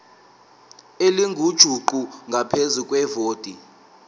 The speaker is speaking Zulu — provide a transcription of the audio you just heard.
elingujuqu ngaphezu kwevoti